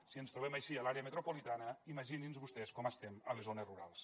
si ens trobem així a l’àrea metropolitana imaginin se vostès com estem a les zones rurals